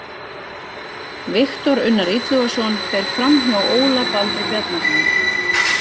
Viktor Unnar Illugason fer framhjá Óla Baldri Bjarnasyni.